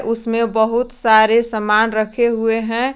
उसमें बहुत सारे सामान रखे हुए हैं।